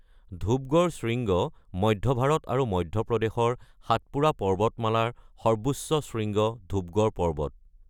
ধূপগড় শৃংগ: মধ্য ভাৰত আৰু মধ্য প্ৰদেশৰ সাতপুৰা পৰ্বতমালাৰ সৰ্বোচ্চ শৃংগ ধূপগড় পৰ্বত।